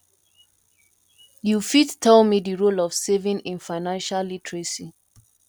you fit tell me di role of saving in financial literacy